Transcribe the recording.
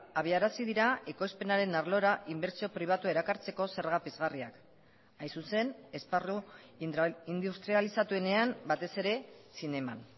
abiarazi dira ekoizpenaren arlora inbertsio pribatua erakartzeko zerga pizgarriak hain zuzen esparru industrializatuenean batez ere zineman